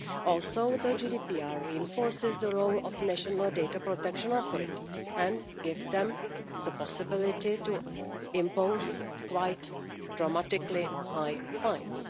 Also, the GDPR reinforces the role of national protection authorities and gives them the possibility to impose quite dramatically high fines.